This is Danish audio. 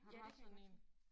Har du haft sådan én?